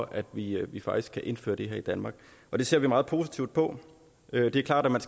at vi at vi faktisk kan indføre det her i danmark og det ser vi meget positivt på det er klart at man